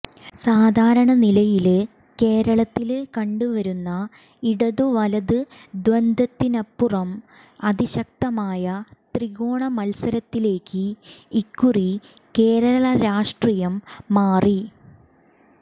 സാധാരണനിലയില് കേരളത്തില് കണ്ടു വരുന്ന ഇടതു വലത് ദ്വന്ദ്വത്തിനപ്പുറം അതിശക്തമായ ത്രികോണ മത്സരത്തിലേക്ക് ഇക്കുറി കേരള രാഷ്ട്രീയം മാറി